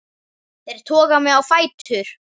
Þær toga mig á fætur.